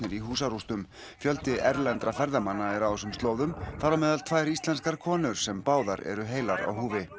í húsarústum fjöldi erlendra ferðamanna er á þessum slóðum þar á meðal tvær íslenskar konur sem báðar eru heilar á húfi